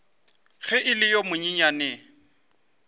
ge e le yo monyenyane